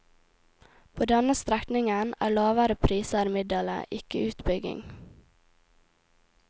På denne strekningen er lavere priser middelet, ikke utbygging.